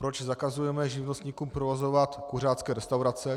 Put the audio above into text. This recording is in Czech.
Proč zakazujeme živnostníkům provozovat kuřácké restaurace?